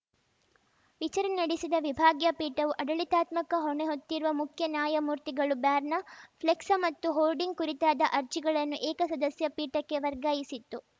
ವಿಚಾರಣೆ ನಡೆಸಿದ ವಿಭಾಗೀಯ ಪೀಠವು ಅಡಳಿತಾತ್ಮಕ ಹೊಣೆ ಹೊತ್ತಿರುವ ಮುಖ್ಯ ನ್ಯಾಯಮೂರ್ತಿಗಳು ಬ್ಯಾರ್ನಾ ಫ್ಲೆಕ್ಸ್‌ ಮತ್ತು ಹೋರ್ಡಿಂಗ್‌ ಕುರಿತಾದ ಅರ್ಜಿಗಳನ್ನು ಏಕಸದಸ್ಯ ಪೀಠಕ್ಕೆ ವರ್ಗಾಯಿಸಿತ್ತು